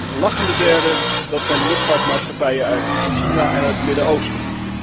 De lachende derden zijn de luchtvaartmaatschappijen uit China en het Midden Oosten.